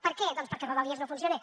per què doncs perquè rodalies no funciona